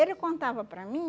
Ele contava para mim